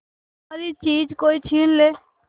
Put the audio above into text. हमारी चीज कोई छीन ले